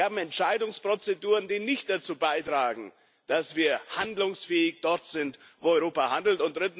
Wir haben Entscheidungsprozeduren, die nicht dazu beitragen, dass wir dort handlungsfähig sind, wo Europa handelt.